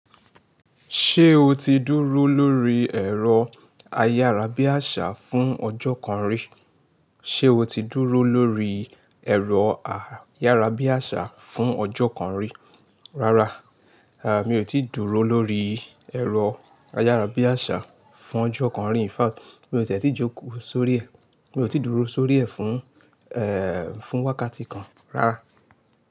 Ṣé o ti dúró lórí ẹ̀rọ ayárabíàṣá fún ọjọ́ kan rí? Ṣé o ti dúró lórí ẹ̀rọ ayárabíàṣá fún ọjọ́ kan rí? Rárá, mi ò tí dúró lórí ẹ̀rọ ayárabíàṣá fún ọjọ́ kan rí. In fact, mi ò tì tí jókòó sórí ẹ̀, mi ò tí dúró sórí ẹ̀ fún, fún wákàtí kan rárá.